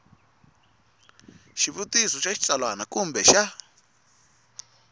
xivutiso xa xitsalwana kumbe xa